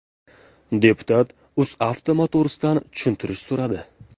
Deputat UzAuto Motors’dan tushuntirish so‘radi.